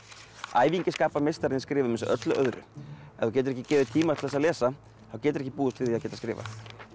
æfingin skapar meistarann í skrifum eins og öllu öðru ef þú getur ekki gefið tíma til þess að lesa þá geturðu ekki búist við því að geta skrifað